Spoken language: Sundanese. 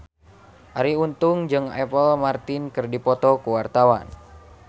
Arie Untung jeung Apple Martin keur dipoto ku wartawan